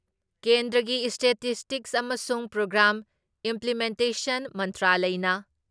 ꯀꯦꯟꯗ꯭ꯔꯒꯤ ꯏꯁꯇꯦꯇꯤꯁꯇꯤꯛꯁ ꯑꯃꯁꯨꯡ programme implementation ꯃꯟꯇ꯭ꯔꯂꯌꯅ